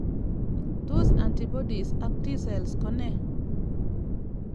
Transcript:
Tos atibodies ak T cells ko ne?